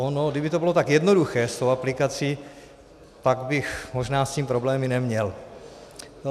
Ono kdyby to bylo tak jednoduché s tou aplikací, pak bych možná s tím problémy neměl.